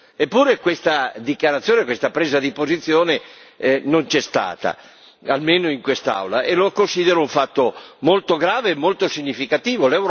Eppure questa dichiarazione, questa presa di posizione non c'è stata, almeno in quest'Aula e lo considero un fatto molto grave e molto significativo.